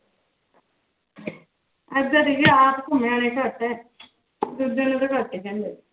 ਏਦਾਂ ਦੇਖੀ ਆਪ ਘੁੰਮੇ ਆਏ ਘੱਟ ਹੈ